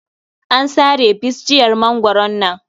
An sare bisjiyar mangwaron nan.